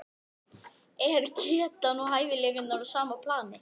Er getan og hæfileikar á sama plani?